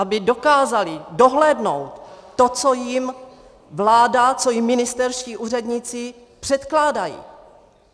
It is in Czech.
Aby dokázali dohlédnout to, co jim vláda, co jim ministerští úředníci předkládají.